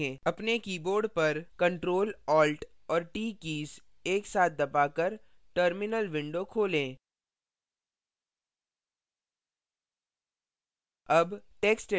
अपने keyboard पर ctrl alt और t कीज़ एक साथ दबा कर terminal window खोलें